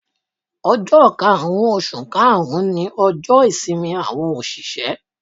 Ojọ́ karùn-ún oṣù karùn-ún ni ọjọ́ ìsinmi àwọn òṣìṣẹ́.